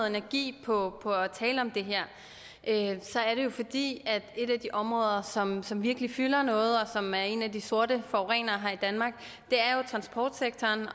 energi på at tale om det her er det jo fordi et af de områder som som virkelig fylder noget og som er en af de sorte forurenere her i danmark er transportsektoren